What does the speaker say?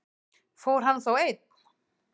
Fór hann þá einn?